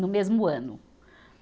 no mesmo ano.